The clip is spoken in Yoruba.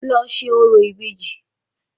Lọ ṣe orò ìbejì